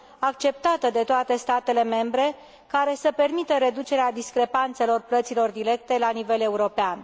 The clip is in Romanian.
acceptată de toate statele membre, care să permită reducerea discrepanțelor plăților directe la nivel european.